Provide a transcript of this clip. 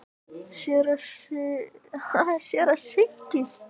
SÉRA SIGURÐUR: Heiftin mun koma yður sjálfum í koll?